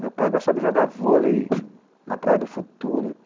Meu pai gostava de jogar vôlei na Praia do Futuro.